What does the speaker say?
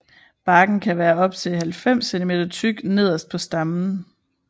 Barken kan være op til 90 cm tyk nederst på stammen